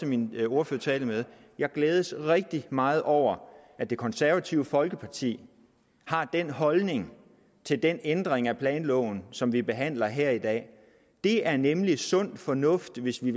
min ordførertale med glædes rigtig meget over at det konservative folkeparti har den holdning til den ændring af planloven som vi behandler her dag det er nemlig sund fornuft hvis vi